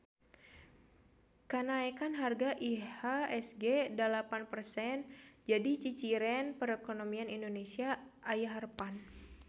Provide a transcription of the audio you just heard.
Kanaekan harga IHSG dalapan persen jadi ciciren perekonomian Indonesia aya harepan